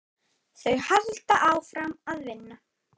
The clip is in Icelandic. Þau halda áfram að vinna.